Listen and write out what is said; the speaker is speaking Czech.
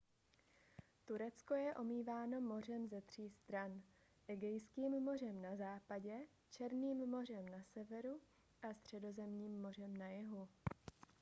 turecko je omýváno mořem ze tří stran egejským mořem na západě černým mořem na severu a středozemním mořem na jihu